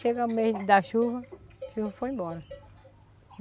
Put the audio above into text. Chega o mês da chuva, a chuva foi embora.